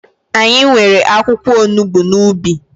Anyị nwere akwụkwọ onugbu n'ubi